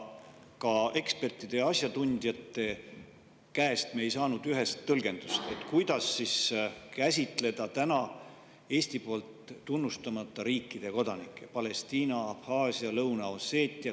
Ka ekspertide ja asjatundjate käest me ei ühest tõlgendust, kuidas käsitleda Eesti poolt tunnustamata riikide Palestiina, Abhaasia, Lõuna-Osseetia kodanikke.